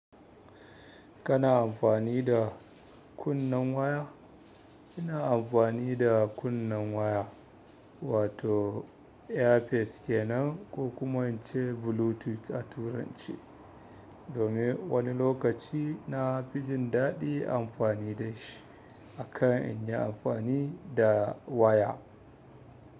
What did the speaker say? Kana amfani da kunnen waya? Ina amfani da kunnen waya wato ear fis ke nan ko kuma ince Bluetooth a turance, domin wani lokaci na fi jin daɗin amfani da shi akan in yi amfani da waya.